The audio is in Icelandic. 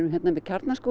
með Kjarnaskóg